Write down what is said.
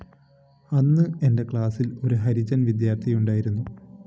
അന്ന് എന്റെ ക്ലാസ്സില്‍ ഒരു ഹരിജന്‍ വിദ്യാര്‍ത്ഥിയുണ്ടായിരുന്നു